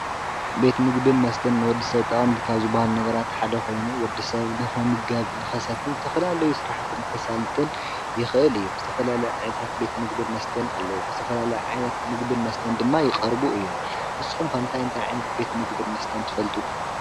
ቤት ምግብን መስተን ንወዲሰብ ጠቐምቲ ካብ ዝበሃሉ ነገራት ሓደ ኮይኑ ወድሰብ ንኽምገብ ንኽሰትን ዝተፈላለዩ ስራሕቲ ንኸሳልጥን የኽእል እዩ፡፡ ዝተፈላለዩ ዓይነታት ቤት ምግብን መስተን ኣለዉ፡፡ ዝተፈላለዩ ዓይነት ምግብን መስተን ድማ ይቐርቡ እዮም፡፡ ንስኹም ከ እታይ እንታይ ዓይነት ምግብን መስተን ትፈልጡ?